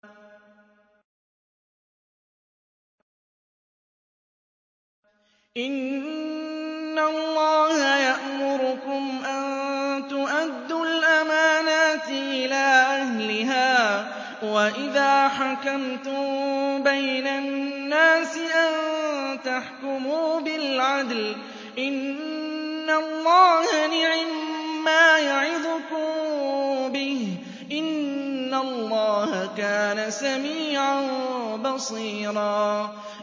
۞ إِنَّ اللَّهَ يَأْمُرُكُمْ أَن تُؤَدُّوا الْأَمَانَاتِ إِلَىٰ أَهْلِهَا وَإِذَا حَكَمْتُم بَيْنَ النَّاسِ أَن تَحْكُمُوا بِالْعَدْلِ ۚ إِنَّ اللَّهَ نِعِمَّا يَعِظُكُم بِهِ ۗ إِنَّ اللَّهَ كَانَ سَمِيعًا بَصِيرًا